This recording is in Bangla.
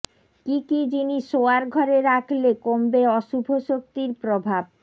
কী কী জিনিস শোওয়ার ঘরে রাখলে কমবে অশুভ শক্তির প্রভাবঃ